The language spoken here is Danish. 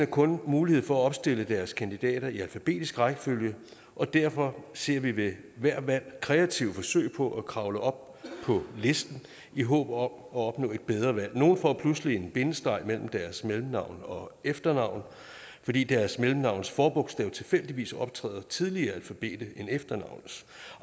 kun mulighed for at opstille deres kandidater i alfabetisk rækkefølge og derfor ser vi ved hvert valg kreative forsøg på at kravle op på listen i håb om at opnå et bedre valg nogle får pludselig en bindestreg mellem deres mellemnavn og efternavn fordi deres mellemnavns forbogstav tilfældigvis optræder tidligere i alfabetet end efternavnets